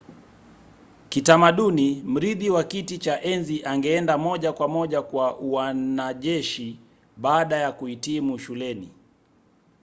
kitamaduni mrithi wa kiti cha enzi angeenda moja kwa moja kwa uanajeshi baada ya kuhitimu shuleni